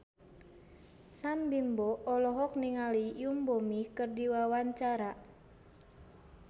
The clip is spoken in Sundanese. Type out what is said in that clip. Sam Bimbo olohok ningali Yoon Bomi keur diwawancara